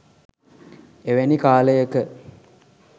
එවැනි කාලයක